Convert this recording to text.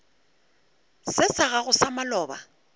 se sa gago sa maloba